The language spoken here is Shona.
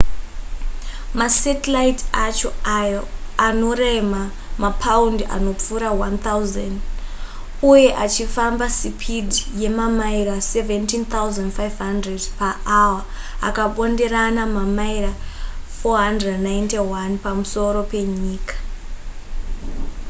masatellite acho ayo anorema mapaundi anopfuura 1,000 uye achifamba sipidhi yemamaira 17,500 paawa akabonderana mamaira 491 pamusoro penyika